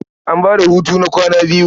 An ba da hutu na kwana biyu.